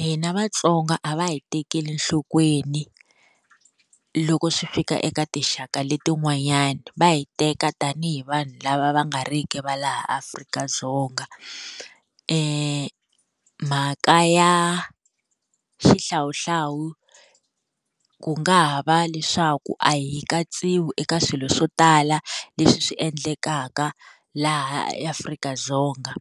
Hina Vatsonga a va hi tekeli enhlokweni loko swi fika eka tinxaka leti n'wanyana va hi teka tanihi vanhu lava va nga riki va laha Afrika-Dzonga mhaka ya xihlawuhlawu ku nga ha va leswaku a hi katsiwi eka swilo swo tala leswi swi endlekaka laha eAfrika-Dzonga,